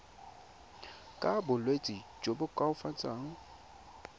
ka bolwetsi jo bo koafatsang